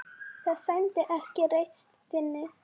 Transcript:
Það sæmdi ekki reisn þinni.